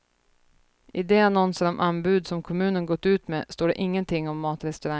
I de annonser om anbud som kommunen gått ut med står det ingenting om matrestaurang.